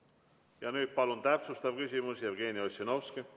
Ja nüüd palun täpsustav küsimus, Jevgeni Ossinovski!